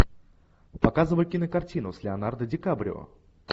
показывай кинокартину с леонардо ди каприо